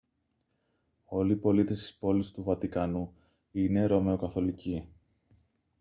όλοι οι πολίτες της πόλης του βατικανού είναι ρωμαιοκαθολικοί